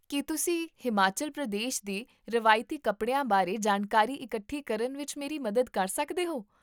ਕੀ ਤੁਸੀਂ ਹਿਮਾਚਲ ਪ੍ਰਦੇਸ਼ ਦੇ ਰਵਾਇਤੀ ਕੱਪੜਿਆਂ ਬਾਰੇ ਜਾਣਕਾਰੀ ਇਕੱਠੀ ਕਰਨ ਵਿੱਚ ਮੇਰੀ ਮਦਦ ਕਰ ਸਕਦੇ ਹੋ?